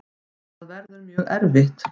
Það verður mjög erfitt.